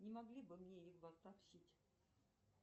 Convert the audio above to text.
не могли бы мне